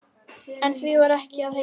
En því var ekki að heilsa.